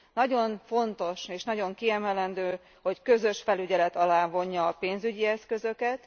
Nagyon fontos, és nagyon kiemelendő, hogy közös felügyelet alá vonja a pénzügyi eszközöket.